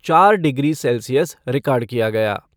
चार degree Celsius record किया गया।